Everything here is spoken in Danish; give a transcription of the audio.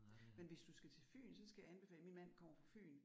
Men hvis du skal til Fyn så skal jeg anbefale min mand kommer fra Fyn